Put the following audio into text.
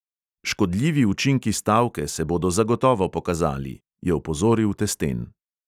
"Škodljivi učinki stavke se bodo zagotovo pokazali," je opozoril testen.